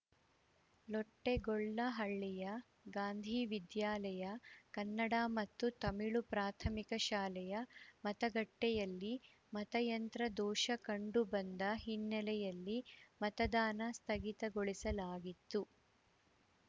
ಲೊಟ್ಟೆಗೊಲ್ಲಹಳ್ಳಿಯ ಗಾಂಧಿ ವಿದ್ಯಾಲಯ ಕನ್ನಡ ಮತ್ತು ತಮಿಳು ಪ್ರಾಥಮಿಕ ಶಾಲೆಯ ಮತಗಟ್ಟೆಯಲ್ಲಿ ಮತಯಂತ್ರ ದೋಷ ಕಂಡು ಬಂದ ಹಿನ್ನೆಯಲ್ಲಿ ಮತದಾನ ಸ್ಥಗಿತಗೊಳಿಸಲಾಗಿತ್ತು